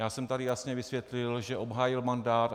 Já jsem tady jasně vysvětlil, že obhájil mandát.